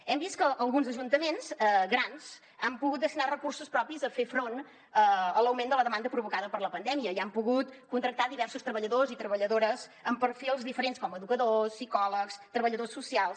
hem vist que alguns ajuntaments grans han pogut destinar recursos propis a fer front a l’augment de la demanda provocada per la pandèmia i han pogut contractar diversos treballadors i treballadores amb perfils diferents com educadors psicòlegs treballadors socials